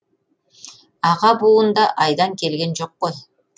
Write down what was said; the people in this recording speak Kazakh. аға буын да айдан келген жоқ қой